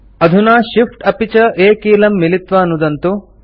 अधुना Shift अपि च A कीलं मिलित्वा नुदन्तु